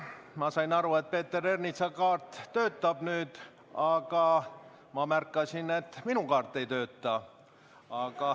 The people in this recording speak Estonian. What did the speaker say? Ma sain aru, et Peeter Ernitsa kaart nüüd töötab, aga ma märkasin, et minu kaart ei tööta.